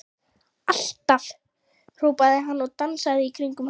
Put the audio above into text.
Alltaf! hrópaði hann og dansaði í kringum hana.